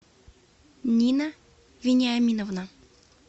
нина вениаминовна